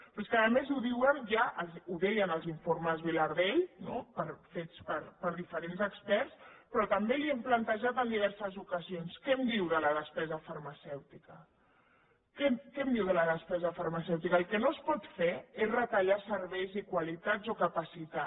però és que a més ho deien ja els informes vilardell fets per diferents experts però també li ho hem plantejat en diverses ocasions què em diu de la despesa farmacèutica què em diu de la despesa farmacèutica el que no es pot fer és retallar serveis i qualitats o capacitat